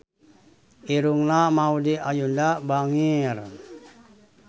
Irungna Maudy Ayunda bangir